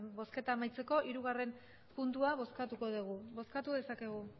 bozketa amaitzeko hirugarrena puntua bozkatuko dugu bozkatu dezakegu